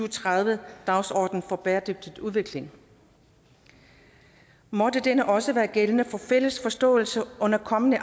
og tredive dagsordenen for bæredygtig udvikling måtte denne også være gældende for fælles forståelse under kommende